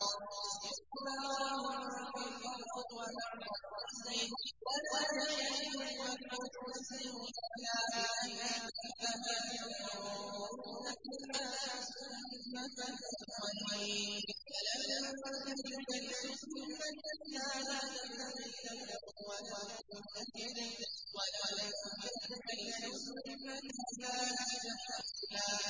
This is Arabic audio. اسْتِكْبَارًا فِي الْأَرْضِ وَمَكْرَ السَّيِّئِ ۚ وَلَا يَحِيقُ الْمَكْرُ السَّيِّئُ إِلَّا بِأَهْلِهِ ۚ فَهَلْ يَنظُرُونَ إِلَّا سُنَّتَ الْأَوَّلِينَ ۚ فَلَن تَجِدَ لِسُنَّتِ اللَّهِ تَبْدِيلًا ۖ وَلَن تَجِدَ لِسُنَّتِ اللَّهِ تَحْوِيلًا